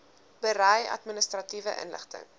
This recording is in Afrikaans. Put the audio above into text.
berei administratiewe inligting